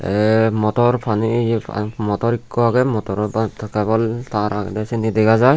te motor pani ye motor ikko agey motoro bat ta tar agede seni dega jai.